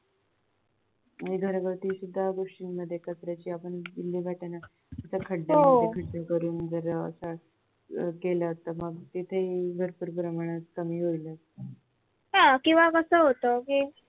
आणि घरगुती पण गोष्टींमध्ये कचऱ्याची आपण विल्हेवाट तर खड्यांमध्ये खड्डे करून जर असा केलं तर तिथे भरपूर प्रमाणात कमी होईलच